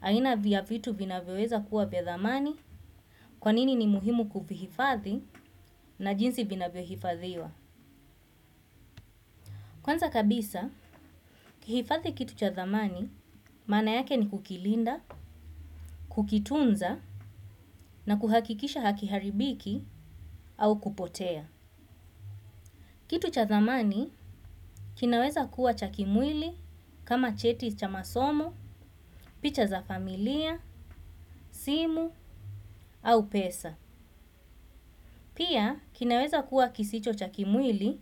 Aina vya vitu vinavyoweza kuwa vya dhamanj kwa nini ni muhimu kuhifadhi na jinsi vinavyohifadhiwa. Kwanza kabisa, kuhifadhi kitu cha dhamani maana yake ni kukilinda, kukitunza na kuhakikisha hakiharibiki au kupotea. Kitu cha dhamani kinaweza kuwa cha kimwili kama cheti cha masomo, picha za familia, simu au pesa. Pia, kinaweza kuwa kisicho cha kimwili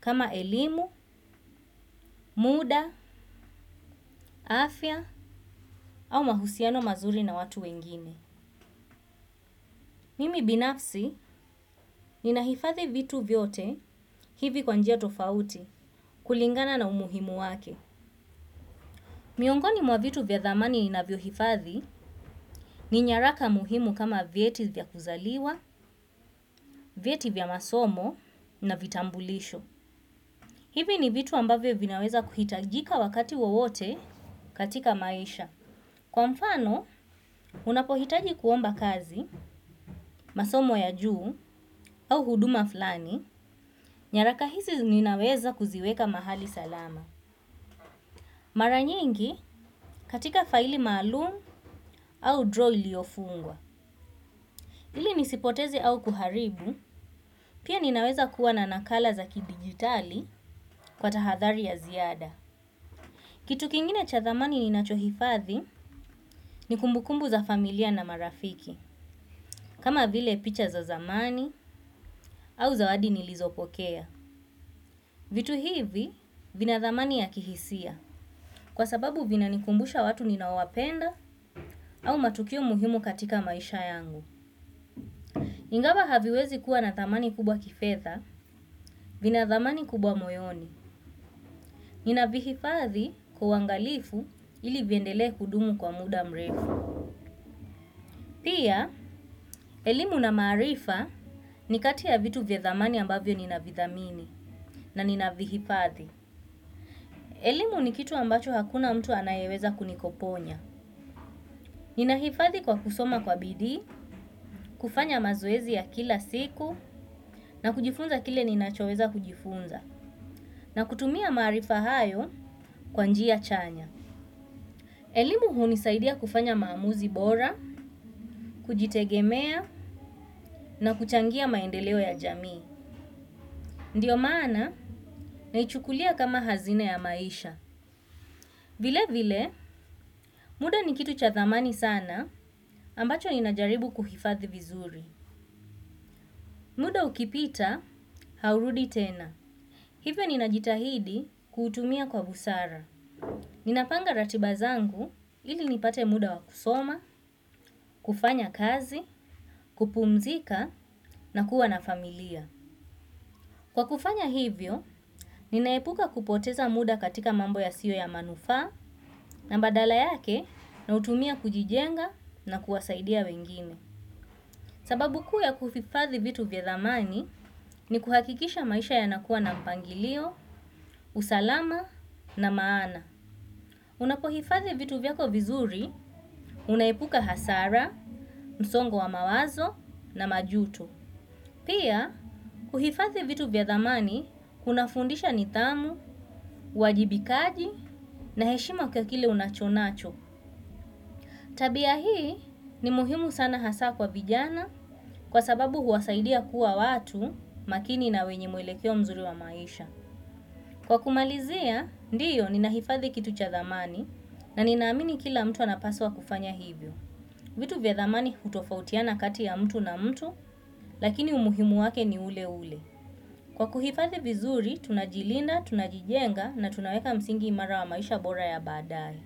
kama elimu, muda, afya, au mahusiano mazuri na watu wengine. Mimi binafsi, ninaifadhi vitu vyote hivi kwa njia tofauti kulingana na umuhimu wake. Miongoni mwa vitu vya dhamani inavyo hifadhi, ni nyaraka muhimu kama vyeti vyakuzaliwa, vyeti vya masomo na vitambulisho. Hivi ni vitu ambavyo vinaweza kuhitajika wakati wowote katika maisha. Kwa mfano, unapohitaji kuomba kazi, masomo ya juu au huduma flani, nyaraka hizi ninaweza kuziweka mahali salama. Mara nyingi katika faili maalum au draw iliofungwa. Ili nisipotezi au kuharibu, pia ninaweza kuwa na nakala za kidigitali kwa tahadhari ya ziada. Kitu kingine cha dhamani ninachohifathi ni kumbukumbu za familia na marafiki, kama vile picha za zamani au zawadi nilizopokea. Vitu hivi vina dhamani ya kihisia kwa sababu vinanikumbusha watu ninawapenda au matukio muhimu katika maisha yangu. Ingawa haviwezi kuwa na dhamani kubwa kifedha vina dhamani kubwa moyoni. Ninavihifathi kwa uangalifu ili viendele kudumu kwa muda mrefu. Pia, elimu na marifa ni kati ya vitu vya dhamani ambavyo nina vidhamini na nina vihifathi. Elimu ni kitu ambacho hakuna mtu anayeweza kunikoponya. Nina hifathi kwa kusoma kwa bidi, kufanya mazoezi ya kila siku, na kujifunza kile ninachoweza kujifunza, na kutumia marifa hayo kwa njia chanya. Elimu hunisaidia kufanya maamuzi bora, kujitegemea, na kuchangia maendeleo ya jamii. Ndiyo maana naichukulia kama hazina ya maisha. Vile vile muda ni kitu cha dhamani sana amabacho ninajaribu kuhifadhi vizuri. Muda ukipita haurudi tena. Hivyo ninajitahidi kuutumia kwa busara. Ninapanga ratiba zangu ili nipate muda wa kusoma kufanya kazi kupumzika na kua na familia kwa kufanya hivyo ninaepuka kupoteza muda katika mambo yasiyo ya manufaa na badala yake nautumia kujijenga na kusaidia wengine. Sababu kuu ya kuhifadhi vitu vya zamani ni kuhakikisha maisha yanakuwa na mpangilio, usalama na maana. Unapohifadhi vitu vyako vizuri, unaepuka hasara, nsongo wa mawazo na majuto. Pia, kuhifathi vitu vya dhamani kuna fundisha nidhamu, wajibikaji na heshima kwa kile unachonacho. Tabia hii ni muhimu sana hasa kwa vijana kwa sababu huwasaidia kuwa watu makini na wenye mwelekio mzuri wa maisha. Kwa kumalizea, ndiyo nina hifadhi kitu cha dhamani na ninaamini kila mtu anapaswa kufanya hivyo. Vitu vya dhamani hutofautiana kati ya mtu na mtu lakini umuhimu wake ni ule ule. Kwa kuhifadhi vizuri, tunajilinda, tunajijenga na tunaweka msingi imara wa maisha bora ya baadaye.